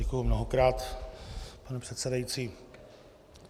Děkuji mnohokrát, pane předsedající.